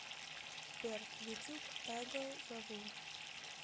сбер ютуб эго зову